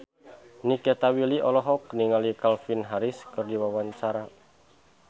Nikita Willy olohok ningali Calvin Harris keur diwawancara